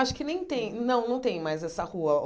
Acho que nem tem não não tem mais essa rua.